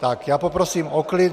Tak, já poprosím o klid.